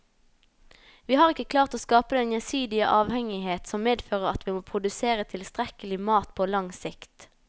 Vi har ikke klart å skape den gjensidige avhengighet som medfører at vi kan produsere tilstrekkelig mat på lang sikt.